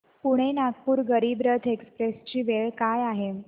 Pune Nagpur Garib Rath express ची वेळ काय आहे